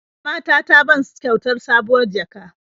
Mama ta ta ban kyautar sabuwar jaka.